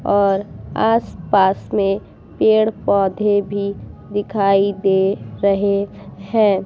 और आस-पास में पेड़ पौधे भी दिखाई दे रहे है ।